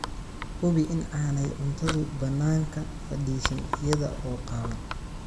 Hubi in aanay cuntadu bannaanka fadhiisan iyada oo qaawan.